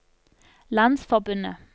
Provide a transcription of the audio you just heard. landsforbundet